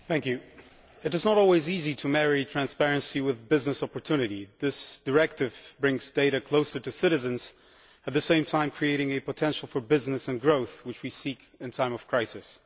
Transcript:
Madam President, it is not always easy to marry transparency with business opportunity. This Directive brings data closer to citizens, while creating a potential for business and growth which we seek in time of crisis.